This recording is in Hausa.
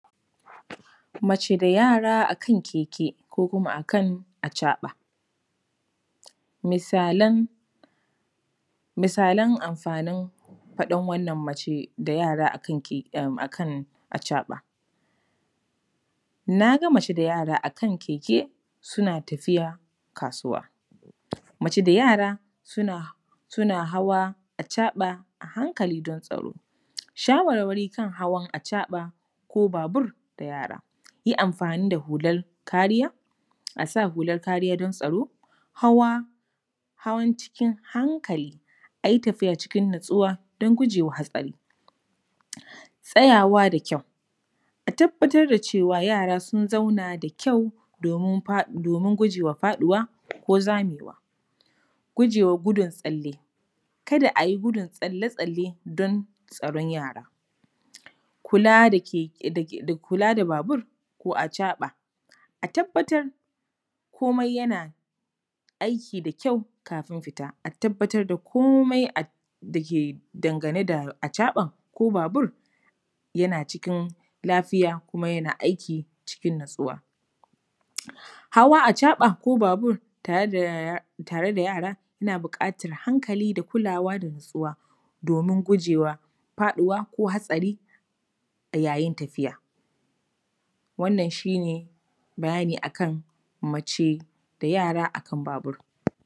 Mace da yara a kan keke ko kuma a kan acaɓa. Misalan amfanin faɗin wannan mace da yara a kan acaɓa: ‘na ga mace da yara a kan keke, suna tafiya kasuwa’, ‘mace da yara suna hawa acaɓa a hankali don tsaro’. Shawarwari kan hawa acaɓa ko babur da yara: yi amfani da hular kariya, a sa hular kariya don tsaro, hawa, hawan cikin hankali, a yi tafiya cikin natsuwa don guje wa hatsari. Tsayawa da kyau, a tabbatar da cewa yara sun zauna da kyau domin guje wa faɗuwa ko zamewa. Guje wa gudun tsalle, kada a yi gudun tsalle-tsalle don tsaron yara. Kula da… kula da babur ko acaɓa, a tabbatar komai yana aiki da kyau kafin fita, a tabbatar da komai da ke dangane da acaɓan ko babur yana cikin lafiya kuma yana aiki cikin natsuwa. Hawa babur ko acaɓa tare da yara, yana buƙatar hankali da kulawa da natsuwa domin guje wa faɗuwa ko hatsari a yayin tafiya. Wannan shi ne bayani a kan mace da yara a kan babur.